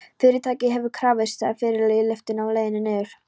Fyrirtækið hefur krafist, sagði Friðrik í lyftunni á leiðinni niður.